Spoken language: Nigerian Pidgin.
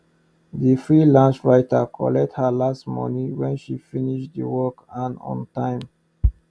the freelance writer collect her last money when she finish the work and on time